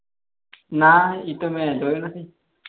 ના એ તો મેં જોયો નહિ